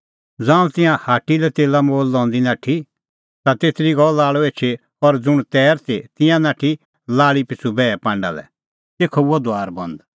ज़ांऊं तिंयां हाट्टी लै तेला मोल लंदी नाठी ता तेतरी गअ लाल़अ एछी और ज़ुंण तैर ती तिंयां ता नाठी लाल़ी पिछ़ू बैहे पांडा लै तेखअ हुअ दुआर बंद